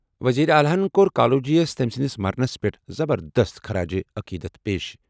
وزیر اعلیٰ یَن کوٚر کالوجی یَس تٔمۍ سٕنٛدِس مرنَس پٮ۪ٹھ زبردست خراج تحسین پیش ۔